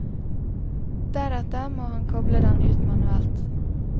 Deretter må han koble den ut manuelt.